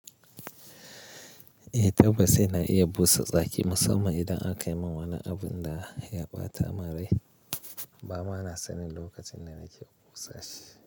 Eh tabbas ina iya busa tsaki musamman idan aka min wani abun da ya ɓata mun rai. Ba ma na sanin lokacin da nake busa shi.